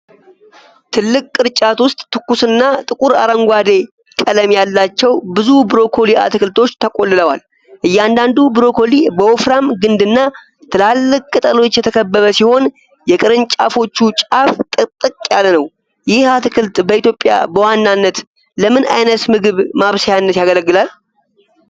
ትልቅ ቅርጫት ውስጥ ትኩስና ጥቁር አረንጓዴ ቀለም ያላቸው ብዙ ብሮኮሊ አትክልቶች ተቆልለዋል። እያንዳንዱ ብሮኮሊ በወፍራም ግንድና ትላልቅ ቅጠሎች የተከበበ ሲሆን፣ የቅርንጫፎቹ ጫፍ ጥቅጥቅ ያለ ነው። ይህ አትክልት በኢትዮጵያ በዋናነት ለምን ዓይነት ምግብ ማብሰያነት ያገለግላል?